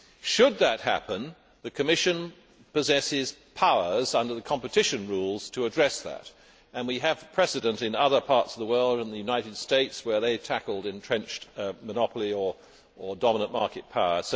Should that happen, the Commission possesses powers under the competition rules to address that, and we have precedent in other parts of the world, including the United States, where they have tackled entrenched monopoly or dominant market power.